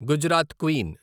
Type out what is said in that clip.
Gujarat queen